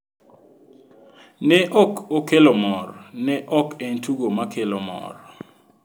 Ne ok okelo mor, ne ok en tugo ma kelo mor."